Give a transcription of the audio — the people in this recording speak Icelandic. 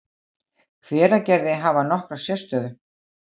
Hveragerði, hafa nokkra sérstöðu.